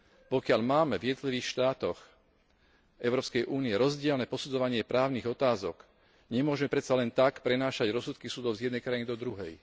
Pokiaľ máme v jednotlivých štátoch Európskej Únie rozdielne posudzovanie právnych otázok, nemôžeme predsa len tak prenášať rozsudky súdov z jednej krajiny do druhej.